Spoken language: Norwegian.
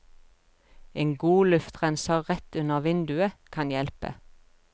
En god luftrenser rett under vinduet kan hjelpe.